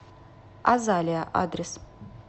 азалия адрес